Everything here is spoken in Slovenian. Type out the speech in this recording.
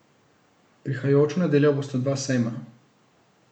Prihajajočo nedeljo bosta dva sejma.